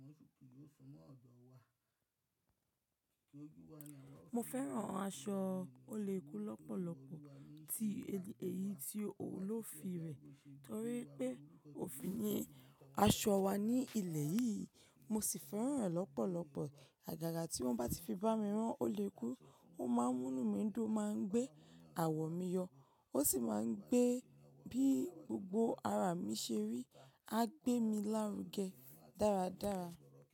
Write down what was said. Mo fẹ́ran aṣọ oléku lọ́pọ̀lọpọ̀. Èyí tí olófi rẹ̀ torí pé òfi yen aṣọ wa ní ilẹ̀ yìí. Mo sì fẹ́ran rẹ̀ lọ́pọ̀lọpọ̀. Àgàgà tí wọ́n bá ti fi bá mi rán oléku, ó máa ń múnu mí dún, ó máa ń gbé àwọ̀ mi yọ ó sì máa ń gbé bí gbogbo ara mi ṣe rí. A gbé mi lárugẹ dáradára.